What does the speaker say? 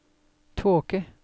tåke